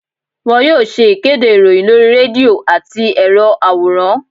won yóò ṣe ìkédè iroyin lorí redio atí erò aworán.